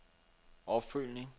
opfølgning